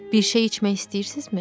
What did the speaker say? Bir şey içmək istəyirsizmi?